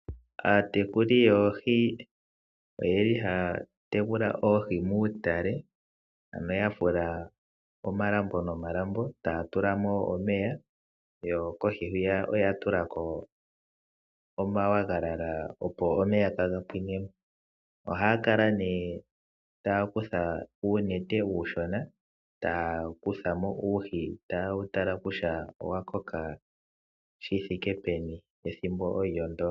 Aatekuli yoohi ohaya tekula oohi muutale, ano ya fula omalambo nomalambo yo kohi oya tula ko oonayilona, opo omeya kaga pwine mo. Ohaya kala nduno tay akutha uunete uushona taya kutha mo uuhi taye wu tala kutya owa koka shi thike peni ethimbo olyo ndyoka.